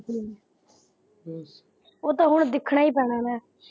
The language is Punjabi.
ਹਮ ਉਹ ਤਾਂ ਹੁਣ ਦਿੱਖਣਾ ਈ ਪੈਣਾ।